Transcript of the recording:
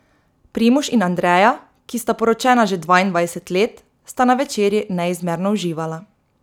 Primož in Andreja, ki sta poročena že dvaindvajset let, sta na večerji neizmerno uživala.